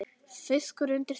Fiskur undir steini.